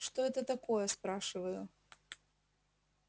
это что такое спрашиваю